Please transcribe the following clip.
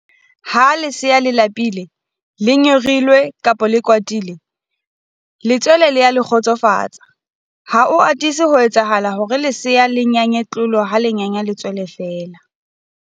Ha lesea le lapile, le nyorilwe kapa le kwatile, letswele le a le kgotsofatsa. Ha ho atise ho etsahala hore lesea le nyanye tlolo ha le nyanya letswele feela.